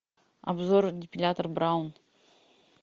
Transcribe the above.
обзор депилятор браун